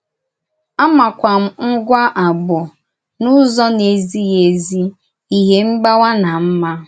Á màkwà m ngwá àgbọ̀ n’ụ́zọ na-ezìghì ézì, ézì, íhè mgbàwá, na mmá.